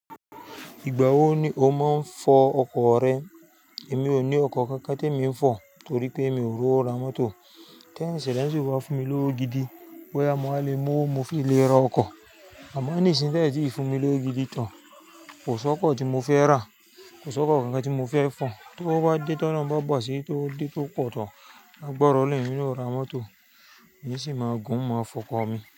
Ìgbà wo ni o máa ń fọ ọkọ̀ rẹ? Èmi ò ní ọkọ̀ kan kan tí mo ń fọ torí pé mi ò rowó ra mọ́tò. Tẹ́ yìn sìlencio bá fún mi lówó gidi, bóyá mo á le mọ́, mo fi léè ra ọkọ̀. Àmọ́ nísinsìnyí, ẹ́ tí ì fún mi lówó gidi tán. Kò sọ́kọ̀ tí mo fẹ́ rà, kò sọ́kọ̀ kọ̀ kan tí mo fẹ́ fọ̀n. Tówo bá dé tó olọ́hun bá se sí i tówo dé tó pọ̀ tán, àgbarò olohun emi naa yóò ra mọ́tò. Èmi sì máa gúm, màá fọ ọkọ̀ mi.